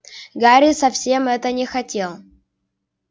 гарри совсем это не хотел